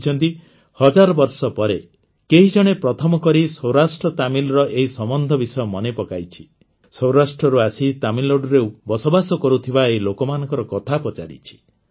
ସେ ଲେଖିଛନ୍ତି ହଜାର ବର୍ଷ ପରେ କେହିଜଣେ ପ୍ରଥମକରି ସୌରାଷ୍ଟ୍ରତାମିଲର ଏହି ସମ୍ବନ୍ଧ ବିଷୟ ମନେପକାଇଛି ସୌରାଷ୍ଟ୍ରରୁ ଆସି ତାମିଲନାଡୁରେ ବସବାସ କରୁଥିବା ଏହି ଲୋକମାନଙ୍କ କଥା ପଚାରିଛି